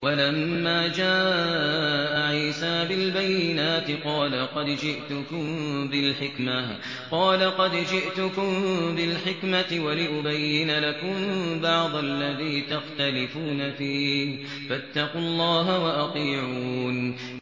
وَلَمَّا جَاءَ عِيسَىٰ بِالْبَيِّنَاتِ قَالَ قَدْ جِئْتُكُم بِالْحِكْمَةِ وَلِأُبَيِّنَ لَكُم بَعْضَ الَّذِي تَخْتَلِفُونَ فِيهِ ۖ فَاتَّقُوا اللَّهَ وَأَطِيعُونِ